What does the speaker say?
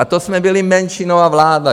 A to jsme byli menšinová vláda.